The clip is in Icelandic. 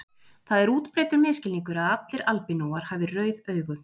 Það er útbreiddur misskilningur að allir albínóar hafi rauð augu.